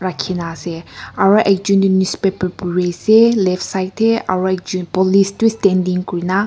Rakhi na ase aro ekjun tuh newspaper puri ase left side tey aro ekjun police tu standing kurina--